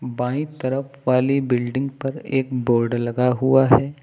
बाईं तरफ वाली बिल्डिंग पर एक बोड लगा हुआ है।